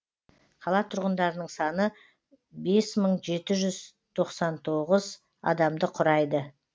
қала тұрғындарының саны бес мың жеті жүз тоқсан тоғыз адамды құрайды